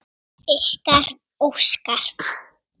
Ykkar, Óskar.